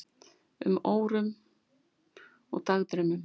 um, órum og dagdraumum.